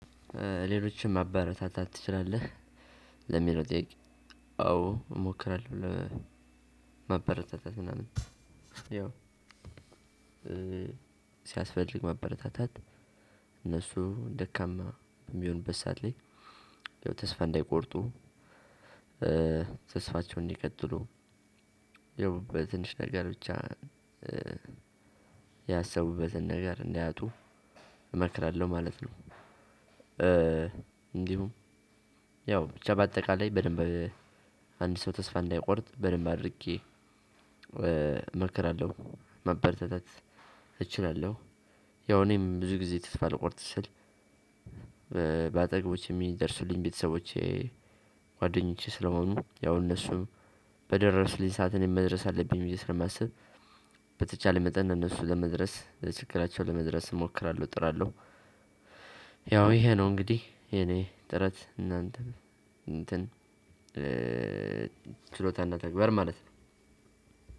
ሌሎችን ማበረታታት ትችላለህ? ለሚለው ጥያቄ አዎ እሞክራለሁ ለማበረታታት ምናምን ያው ሲያስፈልግ ማበረታታት እነሱ ደካማ በሚሆኑበት ሰዓት ላይ ያው ተስፋ እንዳይቆርጡ ተስፋቸውን እንዲቀጥሉ ያው በትንሽ ነገር ብቻ ያሰቡበትን ነገር እንዳያጡ እመክራለሁ ማለት ነው። እንዲሁም ያው ብቻ በአጠቃላይ በደንብ አንድ ሰው ተስፋ እንዳይቆርጥ በደንብ አድርጌ እመርከራለሁ ማበረታታት እችላለሁ ያው እኔም ብዙ ጊዜ ተስፋ ልቆርጥ ስል በአጠገቦቼ የሚደርሱልኝ ቤተሰቦቼ ጓደኞቼ ስለሆኑ ያው እነሱም በደረሱልኝ ሰዓት እኔም መድረስ አለብኝ ብዬ ስለማስብ። በተቻለ መጠን ለነሱ ለመድረስ ለችግራቸው ለመድረስ እሞክራለሁ እጥራለሁ። ያው ይሄ ነው እንግዲህ የኔ ጥረት እናንተ እንትን ችሎታ እና ተግባር ማለት ነው።